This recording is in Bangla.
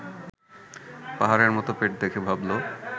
পাহাড়ের মতো পেট দেখে ভাবল